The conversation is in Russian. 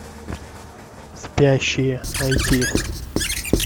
спящие найти